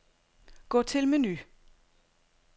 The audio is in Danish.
Gå til menu.